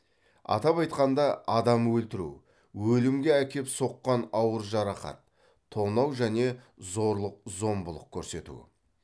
атап айтқанда адам өлтіру өлімге әкеп соққан ауыр жарақат тонау және зорлық зомбылық көрсету